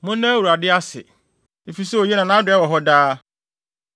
Monna Awurade ase, efisɛ oye na nʼadɔe wɔ hɔ daa.